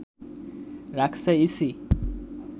রাখছে ইসি